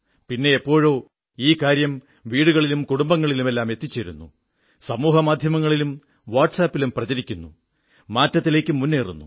പിന്നെ എപ്പോഴോ ഈ കാര്യം വീടുകളിലും കുടുംബങ്ങളിലുമെല്ലാം എത്തിച്ചേരുന്നു സമൂഹമാധ്യമങ്ങളിലും വാട്സ് ആപിലും പ്രചരിക്കുന്നു മാറ്റത്തിലേക്കു മുന്നേറുന്നു